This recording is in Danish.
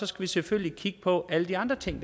skal selvfølgelig kigge på alle de andre ting